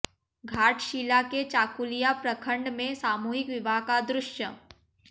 घाटशिला के चाकुलिया प्रखंड में सामूहिक विवाह का दृश्य